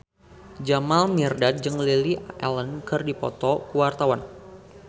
Jamal Mirdad jeung Lily Allen keur dipoto ku wartawan